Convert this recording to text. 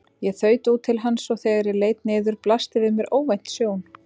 Ég þaut út til hans og þegar ég leit niður blasti við mér óvænt sjón.